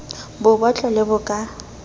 bo botlo le bo ka